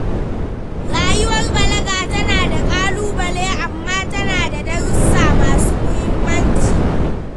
Rayuwar balaga tana da ƙalubale amma tana da darussa masu muhimmanci.